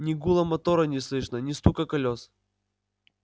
ни гула мотора не слышно ни стука колёс